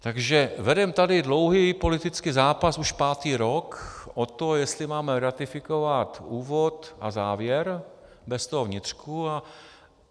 Takže vedeme tady dlouhý politický zápas už pátý rok o to, jestli máme ratifikovat úvod a závěr bez toho vnitřku.